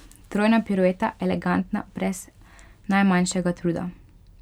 Trojna pirueta, elegantna brez najmanjšega truda.